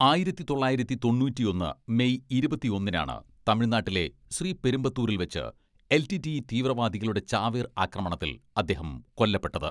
ആയിരത്തി തൊള്ളായിരത്തി തൊണ്ണൂറ്റിയൊന്ന് മെയ് ഇരുപത്തിയൊന്നിനാണ് തമിഴ്നാട്ടിലെ ശ്രീപെരുമ്പത്തൂരിൽ വച്ച് എൽ.ടി.ടി.ഇ തീവ്രവാദികളുടെ ചാവേർ ആക്രമണത്തിൽ അദ്ദേഹം കൊല്ലപ്പെട്ടത്.